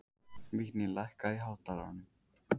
Vigný, lækkaðu í hátalaranum.